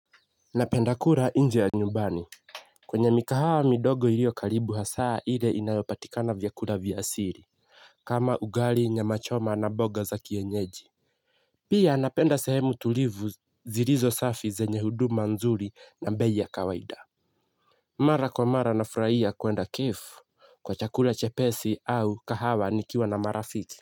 Napenda kula nje ya nyumbani. Kwenye mikahawa midogo ilio karibu hasa ile inayopatikana vyakula vya asili. Kama ugali nyamachoma na mboga za kienyeji. Pia napenda sehemu tulivu zilizo safi zenye huduma nzuri na bei ya kawaida. Mara kwa mara nafurahia kwenda cafe kwa chakula chepesi au kahawa nikiwa na marafiki.